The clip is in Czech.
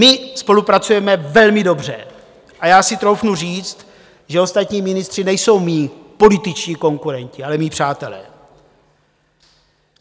My spolupracujeme velmi dobře a já si troufnu říct, že ostatní ministři nejsou mí političtí konkurenti, ale mí přátelé.